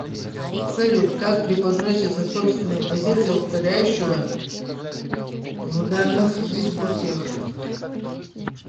салют как преподносится собственная позиция укоряющего в данных дискуссиях